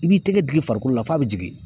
I b'i tɛgɛ digi farikolo la f'a bɛ jigin